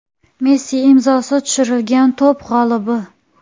Messi imzosi tushirilgan koptok g‘olibi.